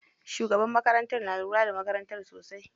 Shugabar makarantar na lura da makarantar sosai.